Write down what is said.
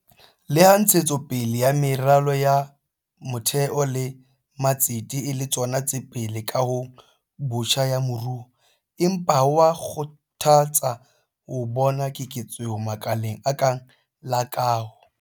Leha ntshetso pele ya meralo ya motheo le matsete e le tsona tse pele kahong botjha ya moruo, empa ho a kgothatsa ho bona keketseho makaleng a kang la kaho.